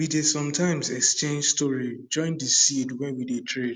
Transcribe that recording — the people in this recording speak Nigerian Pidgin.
we dey sometimes exchange story join de seed wey we dey trade